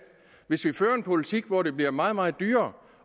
hvis vi fører en politik hvor det bliver meget meget dyrere